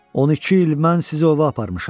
12 il mən sizi ova aparmışam.